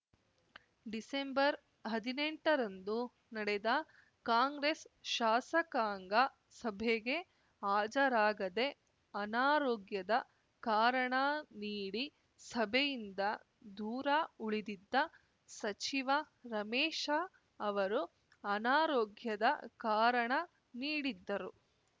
ಡಿಸೆಂಬರ್ಹದಿನೆಂಟರಂದು ನಡೆದ ಕಾಂಗ್ರೆಸ್‌ ಶಾಸಕಾಂಗ ಸಭೆಗೆ ಹಾಜರಾಗದೆ ಅನಾರೋಗ್ಯದ ಕಾರಣ ನೀಡಿ ಸಭೆಯಿಂದ ದೂರ ಉಳಿದಿದ್ದ ಸಚಿವ ರಮೇಶ ಅವರು ಅನಾರೋಗ್ಯದ ಕಾರಣ ನೀಡಿದ್ದರು